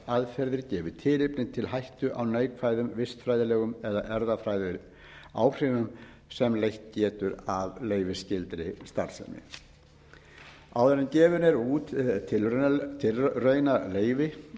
eða starfsaðferðir gefi tilefni til hættu á neikvæðum vistfræðilegum eða erfðafræðilegum áhrifum sem leitt getur af leyfisskyldri starfsemi áður en gefið er út tilraunaleyfi